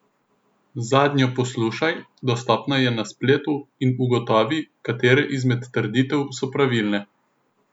Zadnjo poslušaj, dostopna je na spletu, in ugotovi, katere izmed trditev so pravilne.